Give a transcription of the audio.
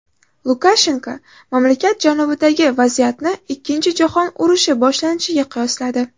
Lukashenko mamlakat janubidagi vaziyatni Ikkinchi jahon urushi boshlanishiga qiyosladi.